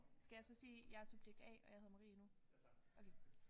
Skal jeg så sige jeg er subjekt A og jeg hedder Marie nu? Okay